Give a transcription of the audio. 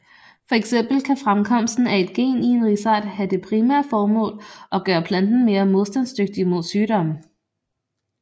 Fx kan fremkomsten af et gen i en risart have det primære formål at gøre planten mere modstandsdygtig mod sygdomme